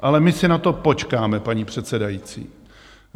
Ale my si na to počkáme, paní předsedající.